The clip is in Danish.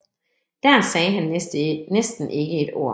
Der sa han næsten ikke et Ord